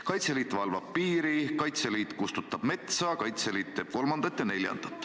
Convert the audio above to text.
Kaitseliit valvab piiri, Kaitseliit kustutab metsa, Kaitseliit teeb kolmandat ja neljandat.